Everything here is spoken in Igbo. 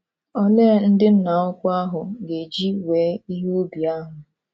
Olee ndị Nna Ukwu ahụ ga - eji wee ihe ubi ahụ?